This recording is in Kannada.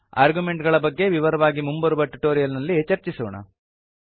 ಆರ್ಗ್ಯುಮೆಂಟ್ ಗಳ ಬಗ್ಗೆ ವಿವರವಾಗಿ ಮುಂಬರುವ ಟ್ಯುಟೋರಿಯಲ್ ನಲ್ಲಿ ಚರ್ಚಿಸೋಣ